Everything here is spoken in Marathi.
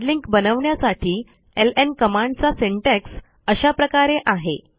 हार्ड लिंक बनवण्यासाठी एलएन कमांडचा सिंटॅक्स अशा प्रकारे आहे